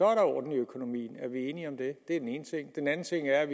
er der orden i økonomien er vi enige om det det er den ene ting den anden ting er